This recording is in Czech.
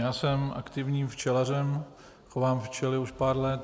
Já jsem aktivním včelařem, chovám včely už pár let.